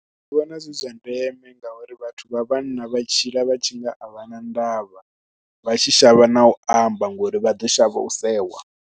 Nṋe ndi vhona zwi zwa ndeme ngauri vhathu vha vhanna vha tshila vha tshi nga a vha na ndavha, vha tshi shavha na u amba ngori vha ḓo shavha u sewa.